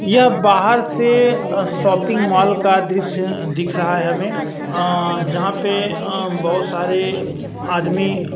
यह बाहर से अ शॉपिंग मॉल का दृश्य दिख रहा है हमें अअ जहाँ पे अ बहुत सारे आदमी --